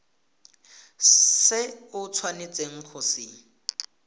se o tshwanetseng go se